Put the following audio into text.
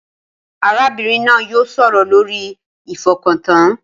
Arábìnrin náà yóò sọ̀rọ̀ lórí ìfọkàntàn